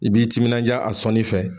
I b'i timinandiya a sɔnni fɛ